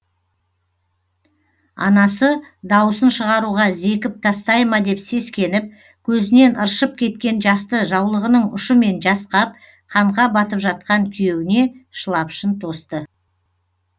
анасы даусын шығаруға зекіп тастай ма деп сескеніп көзінен ыршып кеткен жасты жаулығының ұшымен жасқап қанға батып жатқан күйеуіне шылапшын тосты